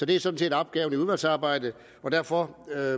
det er sådan set opgaven i udvalgsarbejdet derfor er